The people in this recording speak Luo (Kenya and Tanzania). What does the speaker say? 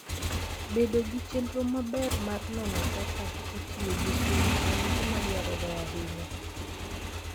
Bedo gi chenro maber mar nono kaka itiyo gi sum en gima dwarore ahinya.